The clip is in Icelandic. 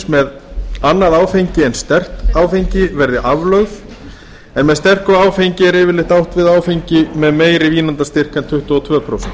með annað áfengi en sterkt áfengi verði aflögð en með sterku áfengi er yfirleitt átt við áfengi með meiri vínandastyrk en tuttugu og tvö prósent